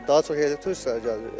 Daha çox yerli turistlər gəlir.